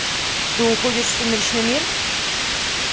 ты уходишь в сумеречный мир